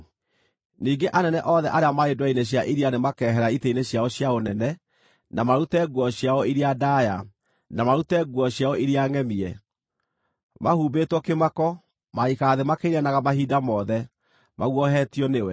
Ningĩ anene othe arĩa marĩ ndwere-inĩ cia iria nĩmakehera itĩ-inĩ ciao cia ũnene, na marute nguo ciao iria ndaaya, na marute nguo ciao iria ngʼemie. Mahumbĩtwo kĩmako, magaikara thĩ makĩinainaga mahinda mothe, maguoyohetio nĩwe.